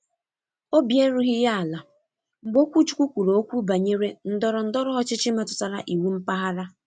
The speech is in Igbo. Obi erughị ya ala mgbe okwuchukwu kwuru okwu banyere ndọrọ ndọrọ ọchịchị metụtara iwu mpaghara.